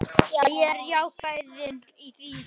Já, ég er ákveðinn í því.